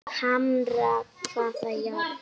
Hamra hvaða járn?